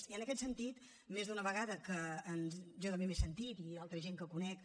i en aquest sentit més d’una vegada que jo també m’he sentit i altra gent que conec